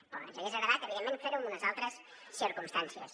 però ens hagués agradat evidentment fer ho en unes altres circumstàncies